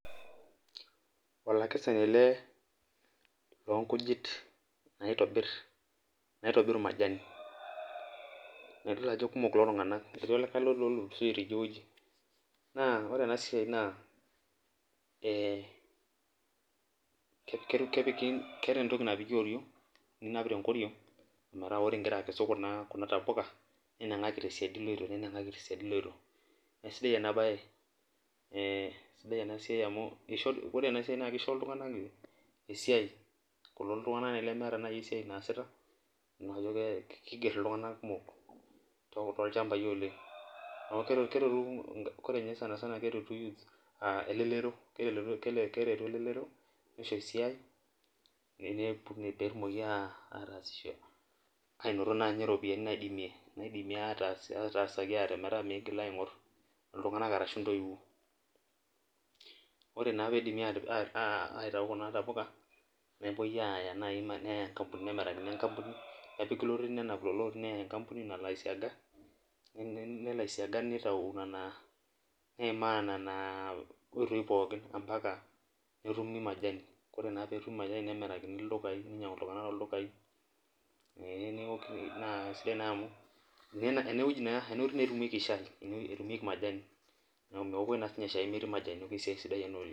olakesani ele loonkujit naitobir, naitobir majani, naa kitodolu ajo kikumok kulo tunganganak, ore ena siai naa, ee kepiki, keeta entoki napiki oriong'ninap tenkoriong' ometaa ore igira akesu kna tapuka, ninang'aki tesiadi iloito. naa kisidai ena bae, ee kisidai ena siia amu ore ena siai naa kisho, iltunganak esiai, kulo tunganak lemeeta naji esiai naasita naa kiger iltunganak kumok, toolchampai olen. ore ninye sanisana, naa keretu elelero. keretu elelro nisho esiai, pee etumoki aataasisho anoto naa ropiyiani naidimi aatasaaki ate, metaa miigil aing'or iltunganak arashu intoiwuo. ore naa pee idipi aitayu kuna tapuka nepuoi aaya naaji nkampunini, matejo naaji enkampuni, nepiki lorin, neya nena lorin nkampuni nalo aisiaga, nelo aisiaga nitau nena neimaa nena, oitoi pookin mpaka netumi majani, ore naa pee epiki majani, nitau iltunganak ildukai, nemirakini ildukai, ee naa sidai naa amu, enewueji naa etumieki majani, ene etumieki majani. neeku meokoi naa ninye shai metii majani, esiai sidai ena oleng.